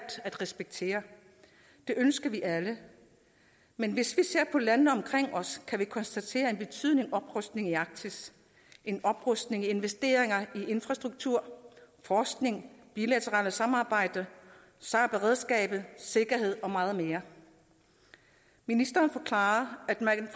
at respektere det ønsker vi alle men hvis vi ser på landene omkring os kan vi konstatere en betydelig oprustning i arktis en oprustning i investeringer i infrastruktur forskning bilateralt samarbejde sar beredskabet sikkerhed og meget mere ministeren forklarer at man